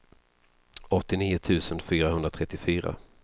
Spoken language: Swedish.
åttionio tusen fyrahundratrettiofyra